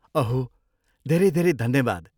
अहो, धेरै धेरै धन्यवाद।